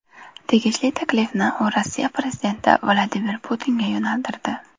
Tegishli taklifni u Rossiya prezidenti Vladimir Putinga yo‘naltirdi.